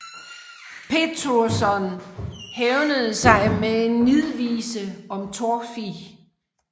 Pétursson hævnede sig med en nidvise om Torfi